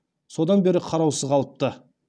содан бері қараусыз қалыпты